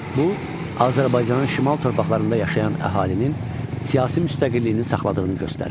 Bu, Azərbaycanın şimal torpaqlarında yaşayan əhalinin siyasi müstəqilliyini saxladığını göstərir.